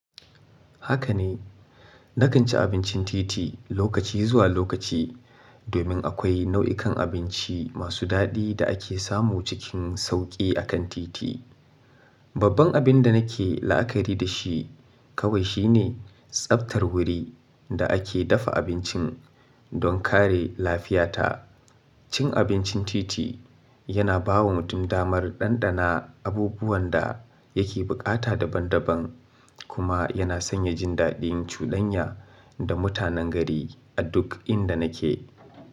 Haka ne, na kan ci abincin titi lokaci zuwa lokaci domin akwai nau'ikan abinci masu daɗi da ake samu cikin sauƙi a kan titi. Babban abin da nake la'akari da shi kawai shi ne tsaftar wuri da ake dafa abincin don kare lafiyata. Cin abincin titi yana bawa mutum damar ɗanɗana abubuwan da yake buƙata daban-daban kuma yana sanya jin daɗin cudanya da mutanen gari a duk inda nake.